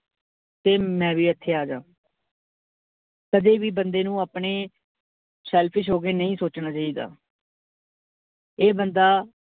ਤੇ ਮੈਂ ਵੀ ਇੱਥੇ ਆ ਜਾਵਾਂ ਕਦੇ ਵੀ ਬੰਦੇ ਨੂੰ ਆਪਣੇ selfish ਹੋ ਕੇ ਨਹੀਂ ਸੋਚਣਾ ਚਾਹੀਦਾ ਇਹ ਬੰਦਾ,